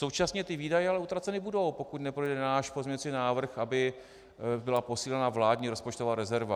Současně ty výdaje ale utraceny budou, pokud neprojde náš pozměňovací návrh, aby byla posílena vládní rozpočtová rezerva.